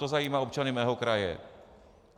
To zajímá občany mého kraje.